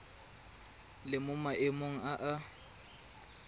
le mo maemong a a